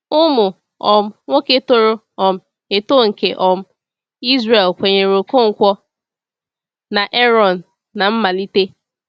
Ụmụ um nwoke toro um eto nke um Izrel kwenyere Ọkọnkwo na Ààrọ̀n n’mmalite.